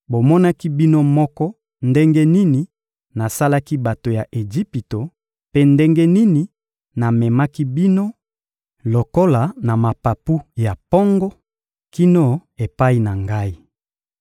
«Bomonaki bino moko ndenge nini nasalaki bato ya Ejipito mpe ndenge nini namemaki bino lokola na mapapu ya mpongo kino epai na Ngai.